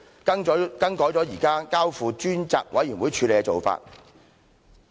更改了現在交付專責委員會處理的做法。